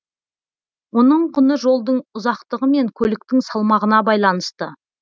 оның құны жолдың ұзақтығы мен көліктің салмағына байланысты